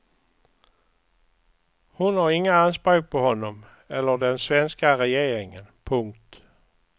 Hon har inga anspråk på honom eller den svenska regeringen. punkt